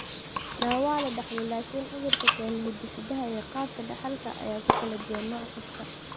NA waa la dhaxlo, laakiin cudurka keena hiddasidaha iyo qaabka dhaxalka ayaa ku kala duwan nooc kasta.